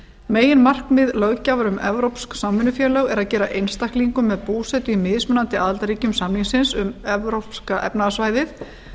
meginmarkmið löggjafar um evrópsk samvinnufélög er að gera einstaklingum með búsetu í mismunandi aðildarríkjum samningsins um evrópska efnahagssvæðið